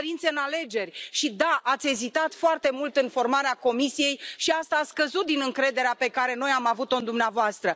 Cu ingerințe în alegeri și da, ați ezitat foarte mult în formarea Comisiei și asta a scăzut din încrederea pe care noi am avut o în dumneavoastră.